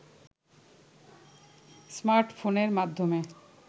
স্মার্টফোনের মাধ্যমে